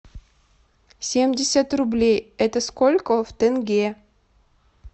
семьдесят рублей это сколько в тенге